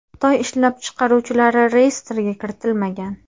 Xitoy ishlab chiqaruvchilari reyestrga kiritilmagan.